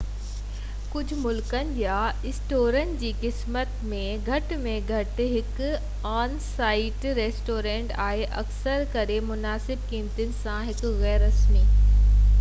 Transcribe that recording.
ڪجھ ملڪن يا اسٽورن جي قسمن ۾ گهٽ ۾ گهٽ هڪ آن-سائيٽ ريسٽورينٽ آهي اڪثر ڪري مناسب قيمتن سان هڪ غير رسمي